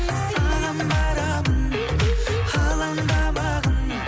саған барамын алаңдамағын